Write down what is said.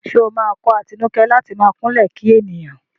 Ṣé ó máa kọ́ Atinúkẹ́ láti máa kúnlẹ̀ kí ènìyàn?